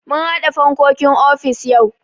Mun haɗa fankokin ofis yau.